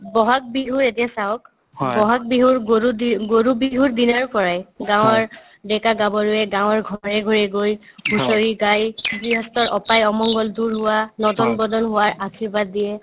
ব'হাগ বিহু এতিয়া চাওক ব'হাগ বিহুৰ গৰু দিম গৰু বিহুৰ দিনাৰ পৰায়ে গাঁৱৰ ডেকা- গাভৰুৱে গাঁৱৰ ঘৰে ঘৰে গৈ হুঁচৰি গাই গৃহস্থৰ অপাই অমংগল দূৰ হোৱা নদন -বদন হোৱাৰ আৰ্শীবাদ দিয়ে